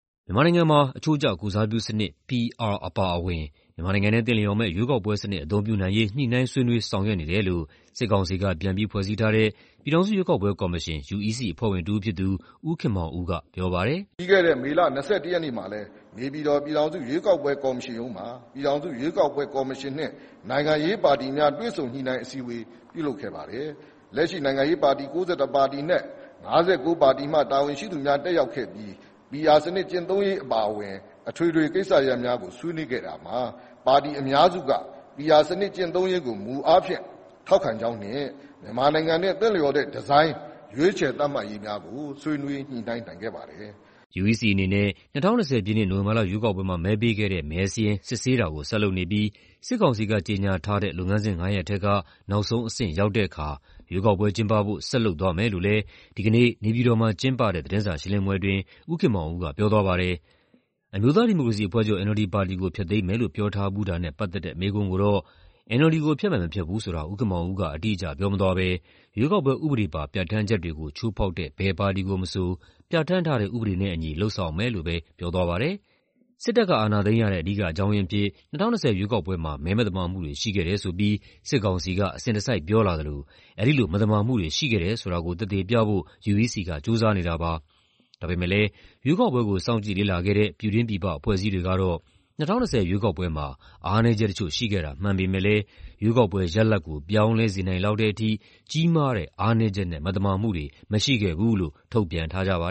မြန်မာနိုင်ငံမှာ အချိုးကျကိုယ်စားပြုစနစ် (PR) အပါအဝင် မြန်မာနိုင်ငံနဲ့ သင့်လျော်မယ့် ရွေးကောက်ပွဲစနစ် အသုံးပြုနိုင်ရေး ညှိနှိုင်းဆွေးနွေး ဆောင်ရွက်နေတယ်လို့ စစ်ကောင်စီက ပြန်ပြီးဖွဲ့စည်းထားတဲ့ ပြည်ထောင်စုရွေးကောက်ပွဲကော်မရှင် (UEC) အဖွဲ့ဝင်တဦးဖြစ်သူ ဦးခင်မောင်ဦးက ပြောပါတယ်။ “ပြီးခဲ့တဲ့ မေလ ၂၁ ရက်နေ့မှာလည်း နေပြည်တော် ပြည်ထောင်စုရွေးကောက်ပွဲ ကော်မရှင်ရုံးမှာ ပြည်ထောင်စုရွေးကောက်ပွဲ ကော်မရှင်နှင့် နိုင်ငံရေးပါတီများ တွေ့ဆုံညှိနှိုင်း အစည်းအဝေး ပြုလုပ်ခဲ့ပါတယ်။ လက်ရှိ နိုင်ငံရေးပါတီ ၉၁ ပါတီအနက် ၅၉ ပါတီမှ တာဝန်ရှိသူများ တက်ရောက်ခဲ့ပြီး PR စနစ် ကျင့်သုံးရေး အပါအဝင် အထွေထွေကိစ္စရပ်များကို ဆွေးနွေးခဲ့တာမှာ ပါတီအများစုက PR စနစ် ကျင့်သုံးရေးကို မူအားဖြင့် ထောက်ခံကြောင်းနှင့် မြန်မာနိုင်ငံနဲ့ သင့်လျော်တဲ့ဒီဇိုင်း ရွေးချယ်သတ်မှတ်ရေးများကို ဆွေးနွေးညှိနှိုင်းနိုင်ခဲ့ပါတယ်။” UEC အနေနဲ့ ၂၀၂၀ ပြည့်နှစ်၊ နိုဝင်ဘာလ ရွေးကောက်ပွဲမှာ မဲပေးခဲ့တဲ့ မဲစာရင်း စစ်ဆေးတာကို ဆက်လုပ်နေပြီး စစ်ကောင်စီက ကြေညာထားတဲ့ လုပ်ငန်းစဉ်ငါးရပ်ထဲက နောက်ဆုံးအဆင့် ရောက်တဲ့အခါ ရွေးကောက်ပွဲကျင်းပဖို့ ဆက်လုပ်သွားမယ်လို့လည်း ဒီကနေ့ နေပြည်တော်မှာ ကျင်းပတဲ့ သတင်းစာရှင်းလင်းပွဲအတွင်း ဦးခင်မောင်ဦးက ပြောသွားပါတယ်။ အမျိုးသားဒီမိုကရေစီအဖွဲ့ချုပ် (NLD) ပါတီကို ဖျက်သိမ်းမယ်လို့ ပြောထားဖူးတာနဲ့ ပတ်သက်တဲ့ မေးခွန်းကိုတော့ NLD ကို ဖျက်မယ် မဖျက်ဘူးဆိုတာ ဦးခင်မောင်ဦးက အတိအကျ ပြောမသွားဘဲ ရွေးကောက်ပွဲဥပဒေပါ ပြဋ္ဌာန်းချက်တွေကို ချိုးဖောက်တဲ့ ဘယ်ပါတီကိုမဆို ပြဋ္ဌာန်းထားတဲ့ ဥပဒေနဲ့အညီ လုပ်ဆောင်မယ်လို့ပဲ ပြောသွားပါတယ်။ စစ်တပ်က အာဏာသိမ်းရတဲ့ အဓိကအကြောင်းရင်းအဖြစ် ၂၀၂၀ ရွေးကောက်ပွဲမှာ မဲမသမာမှုတွေ ရှိခဲ့တယ်ဆိုပြီး စစ်ကောင်စီက အစဉ်တစိုက် ပြောလာသလို အဲဒီလို မသမာမှုတွေ ရှိခဲ့တယ်ဆိုတာကို သက်သေပြဖို့ UEC က ကြိုးစားနေတာပါ။ ဒါပေမယ့်လည်း ရွေးကောက်ပွဲကို စောင့်ကြည့်လေ့လာခဲ့တဲ့ ပြည်တွင်းပြည်ပ အဖွဲ့အစည်းတွေကတော့ ၂၀၂၀ ရွေးကောက်ပွဲမှာ အားနည်းချက်တချို့ ရှိခဲ့တာ မှန်ပေမယ့်လည်း ရွေးကောက်ပွဲရလဒ်ကို ပြောင်းလဲစေနိုင်လောက်တဲ့ထိ ကြီးမားတဲ့ အားနည်းချက်နဲ့ မသမာမှုတွေ မရှိခဲ့ဘူးလို့ ထုတ်ပြန်ထားကြပါ